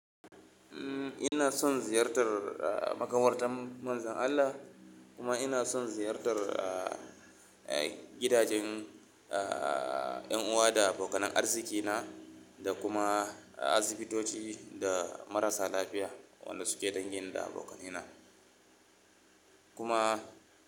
Umm, ina son ziyartar, ah, makabartan Manzon Allah kuma ina son ziyartar, ah, gidajen, ah, 'yan uwa da abokanan arzikina da kuma asibitoci da marasa lafiya wanda suke dangin da abokanina. Kuma.